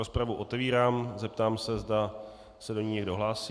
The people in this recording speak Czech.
Rozpravu otevírám, zeptám se, zda se do ní někdo hlásí.